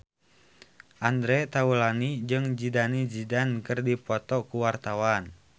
Andre Taulany jeung Zidane Zidane keur dipoto ku wartawan